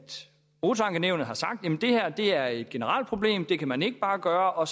motorankenævnet har sagt at det her er et generelt problem det kan man ikke bare gøre og